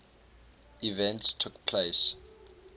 events took place